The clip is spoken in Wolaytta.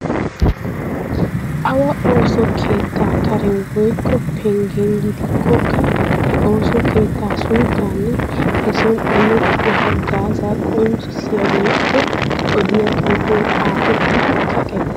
Awa ooso keettaa karen woykko penggen gidikkokka he ooso keettaa sunttaanne he.sooni imettiya haggaazaa qonccissiya woykko odiya xuufee xaafettidi kaqettees.